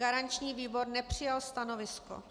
Garanční výbor nepřijal stanovisko.